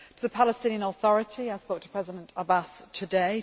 to the Palestinian Authority I spoke to President Abbas today